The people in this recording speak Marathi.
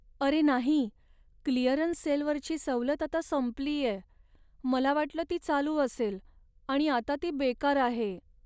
अरे नाही! क्लिअरन्स सेलवरची सवलत आता संपलीये. मला वाटलं ती चालू असेल आणि आता ती बेकार आहे.